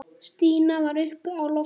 Stína var uppi á lofti.